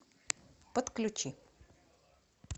подключи